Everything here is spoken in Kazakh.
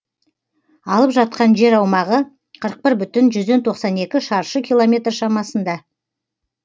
алып жатқан жер аумағы қырық бір бүтін жүзден тоқсан екі шаршы километр шамасында